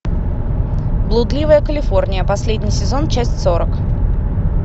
блудливая калифорния последний сезон часть сорок